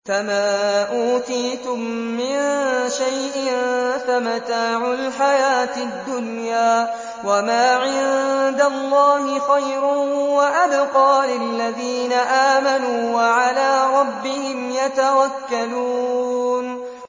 فَمَا أُوتِيتُم مِّن شَيْءٍ فَمَتَاعُ الْحَيَاةِ الدُّنْيَا ۖ وَمَا عِندَ اللَّهِ خَيْرٌ وَأَبْقَىٰ لِلَّذِينَ آمَنُوا وَعَلَىٰ رَبِّهِمْ يَتَوَكَّلُونَ